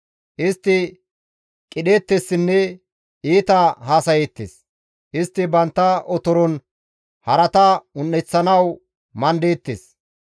Istti qidheettessinne iita haasayeettes; istti bantta otoron harata un7eththanawu mandeettes.